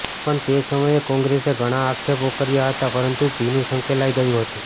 પણ તે સમયે કોંગ્રેસે ઘણા આક્ષેપો કર્યાં હતાં પરંતુ ભીનું સંકેલાઈ ગયું હતું